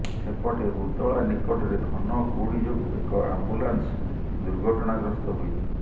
ସେପଟେ ଉଦଳା ନିକଟରେ ଘନ କୁହୁଡି ଯୋଗୁ ଏକ ଆମ୍ବୁଲାନ୍ସ ଦୁର୍ଘଟଣାଗ୍ରସ୍ତ ହୋଇଛି